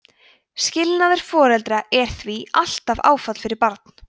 skilnaður foreldra er því alltaf áfall fyrir barn